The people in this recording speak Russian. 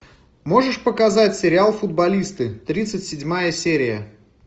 можешь показать сериал футболисты тридцать седьмая серия